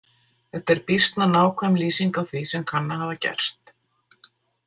Þetta er býsna nákvæm lýsing á því sem kann að hafa gerst.